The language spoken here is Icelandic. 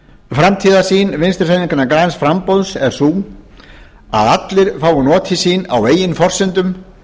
framtíðarsýn vinstri hreyfingarinnar græns framboðs er sú að allir fái notið sín á eigin forsendum